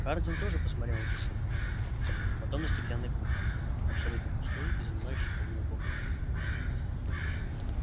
хардин тоже посмотрел на часы потом на стеклянный куб абсолютно пустой и занимающий половину комнаты